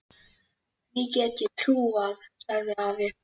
Því get ég trúað, sagði afi.